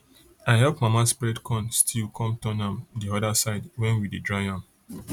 i help mama spread corn still come turn am the other side when we dey dry am